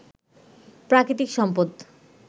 প্রাকৃতিক সম্পদ